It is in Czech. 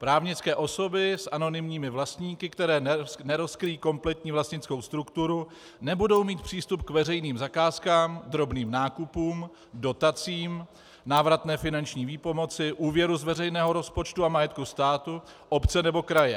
Právnické osoby s anonymními vlastníky, které nerozkryjí kompletní vlastnickou strukturu, nebudou mít přístup k veřejným zakázkám, drobným nákupům, dotacím, návratné finanční výpomoci, úvěru z veřejného rozpočtu a majetku státu, obce nebo kraje.